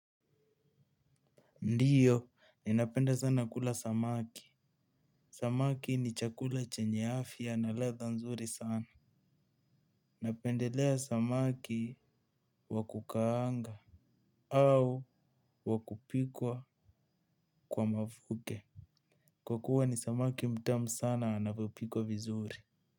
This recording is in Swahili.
Ndiyo, ninapenda sana kula samaki. Samaki ni chakula chenye afya na ladha nzuri sana. Napendelea samaki wa kukaanga au wa kupikwa kwa mafuke. Kwa kuwa ni samaki mtamu sana anapopikwa vizuri.